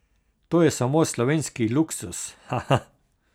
To je samo slovenski luksuz, haha.